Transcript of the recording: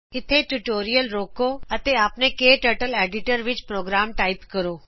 ਇੱਥੇ ਟਿਯੂਟੋਰਿਅਲ ਰੋਕੋ ਅਤੇ ਆਪਣੇ ਕਟਰਟਲ ਐਡੀਟਰ ਵਿੱਚ ਪ੍ਰੋਗਰਾਮ ਟਾਇਪ ਕਰੋ